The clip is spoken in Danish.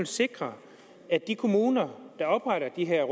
sikre at de kommuner der opretter de her